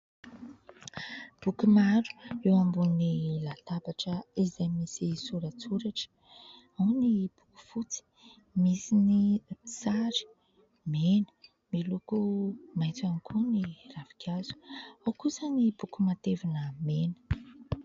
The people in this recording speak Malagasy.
Boky maro eo ambony latabatra izay misy soratsoratra. Ao ny boky fotsy, misy ny sary mena. Miloko maitso ihany koa ny ravinkazo ; ao kosa ny boky matevina mena.